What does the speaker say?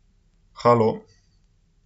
Halo?